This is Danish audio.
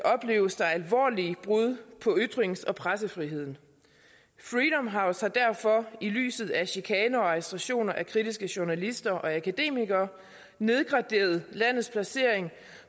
alvorlige brud på ytrings og pressefriheden freedom har jo så derfor i lyset af chikane og arrestationer af kritiske journalister og akademikere nedgraderet landets placering